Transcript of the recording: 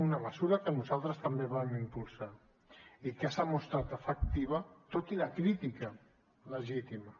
una mesura que nosaltres també vam impulsar i que s’ha mostrat efectiva tot i la crítica legítima